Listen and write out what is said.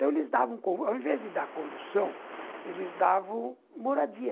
Então, eles davam, ao invés de dar condução, eles davam moradia.